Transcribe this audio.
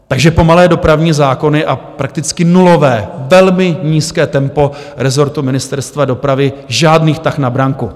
Takže pomalé dopravní zákony a prakticky nulové, velmi nízké tempo rezortu Ministerstva dopravy, žádný tah na branku.